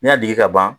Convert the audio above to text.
N'i y'a degi ka ban